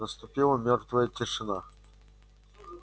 наступила мёртвая тишина